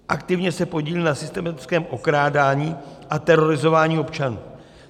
Aktivně se podílí na systematickém okrádání a terorizování občanů.